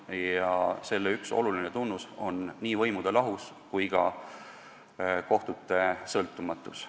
Ja selle olulised tunnused on nii võimude lahusus kui ka kohtute sõltumatus.